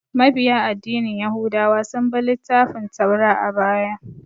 Mabiya addinin yahudawa sun bi littafin Taura a baya